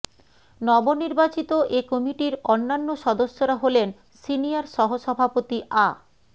নবনির্বাচিত এ কমিটির অন্যান্য সদস্যরা হলেন সিনিয়র সহসভাপতি আ